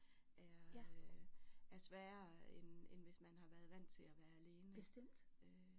Er øh er sværere end end hvis man har været vant til at være alene øh